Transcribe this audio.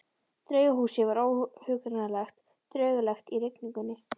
Draugahúsið var óhugnanlega draugalegt í rigningunni.